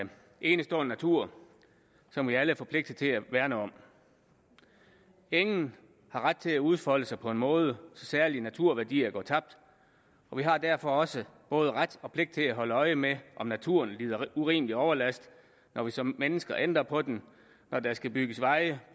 en enestående natur som vi alle er forpligtet til at værne om ingen har ret til at udfolde sig på en måde så særlige naturværdier går tabt og vi har derfor også både ret og pligt til at holde øje med om naturen lider urimelig overlast når vi som mennesker ændrer på den når der skal bygges veje